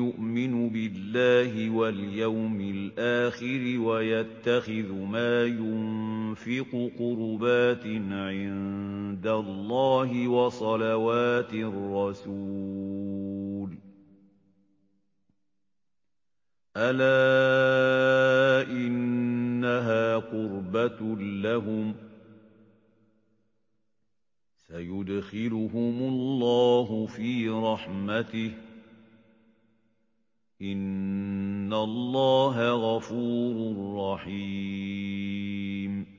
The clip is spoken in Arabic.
يُؤْمِنُ بِاللَّهِ وَالْيَوْمِ الْآخِرِ وَيَتَّخِذُ مَا يُنفِقُ قُرُبَاتٍ عِندَ اللَّهِ وَصَلَوَاتِ الرَّسُولِ ۚ أَلَا إِنَّهَا قُرْبَةٌ لَّهُمْ ۚ سَيُدْخِلُهُمُ اللَّهُ فِي رَحْمَتِهِ ۗ إِنَّ اللَّهَ غَفُورٌ رَّحِيمٌ